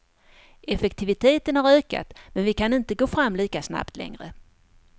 Effektiviteten har ökat, men vi kan inte gå fram lika snabbt längre.